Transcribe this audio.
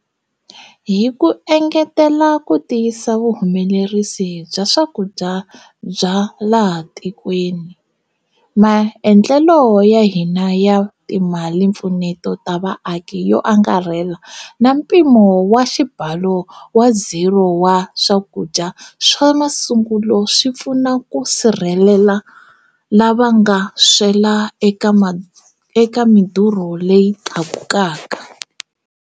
Hi ku engetela ku tiyisa vuhumelerisi bya swakudya bya laha tikweni, maendlelo ya hina ya timalimpfuneto ta vaaki yo angarhela na mpimo wa xibalo wa ziro wa swakudya swa masungulo swi pfuna ku sirhelela lava nga swela eka midurho leyi tlakuka.